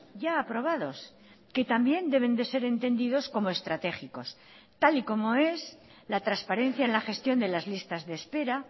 ya aprobados que también deben de ser entendidos como estratégicos tal y como es la transparencia en la gestión de las listas de espera